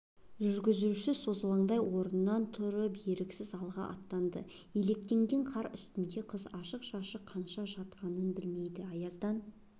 жүргізуші созалаңдай орнынан тұрып еріксіз алға аттады илектенген қар үстінде қыз ашық-шашық қанша жатқанын білмейді аяздан